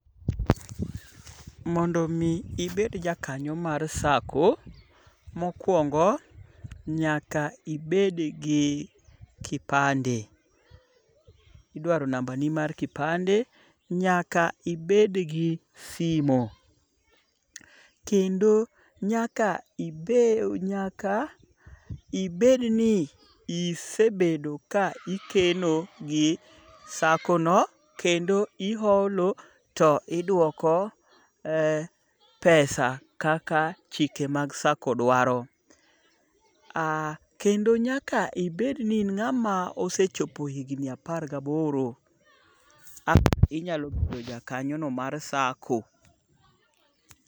Mondo omi ibed jakanyo mar sacco, mokwongo, nyaka ibed gi kipande. Idwaro nambani mar kipande. Nyaka ibed gi simo. Kendo nyaka ibedni isebedo ka ikeno gi saccono kendo iholo to idwoko, pesa kaka chike mag sacco dwaro. Kendo nyaka ibed ni in ng'ama osechopo higni apar gi aboro. Inyalo bedo jakanyono mar sacco.